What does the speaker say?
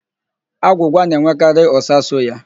Agwụgwa na-enwekarị ụ́sà so ya.